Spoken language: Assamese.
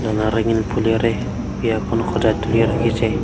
ফুলেৰে বিয়াখন সজাই তুলিয়া ৰাখিছে।